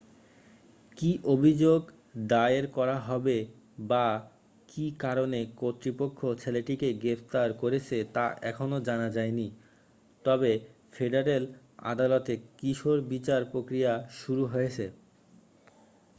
কী অভিযোগ দায়ের করা হবে বা কী কারণে কর্তৃপক্ষ ছেলেটিকে গ্রেফতার করেছে তা এখনও জানা যায়নি তবে ফেডারেল আদালতে কিশোর বিচার প্রক্রিয়া শুরু হয়েছে